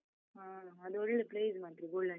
ಹ, ಅದೊಳ್ಳೇ place ಮಾತ್ರ golden temple.